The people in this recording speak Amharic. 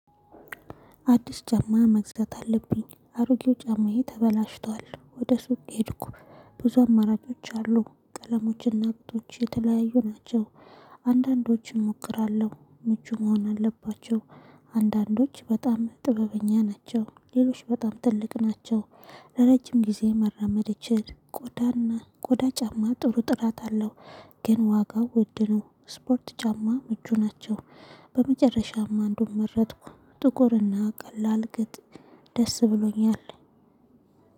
አዲስ ጫማ መግዛት አለብኝ። አሮጌው ጫማዬ ተበላሽቷል ወደ ሱቅ ሄድኩ። ብዙ አማራጮች አሉ ቀለሞችና ቁጥሮች የተለያዩ ናቸው። አንዳንዶችን እሞክራለሁ ምቹ መሆን አለባቸው። አንዳንዶች በጣም ጥበበኛ ናቸው ሌሎች በጣም ትልቅ ናቸው። ለረጅም ጊዜ መራመድ እችል ቆዳና ቆዳ ጫማ ጥሩ ጥራት አለው። ግን ዋጋው ውድነው። ስፖርት ጫማ ምቹ ናቸው። በመጨረሻም አንዱን መረጥኩ። ጥቁርና ቀላል ግን ደስ ብሎኛል